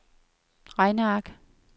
regneark